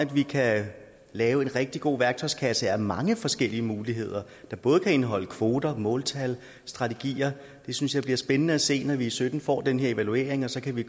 vi kan lave en rigtig god værktøjskasse af mange forskellige muligheder der både kan indeholde kvoter måltal strategier det synes jeg bliver spændende at se når vi i sytten får den her evaluering og så kan vi